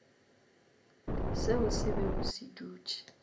seo se bego se dutše